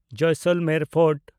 Jaisalmer fort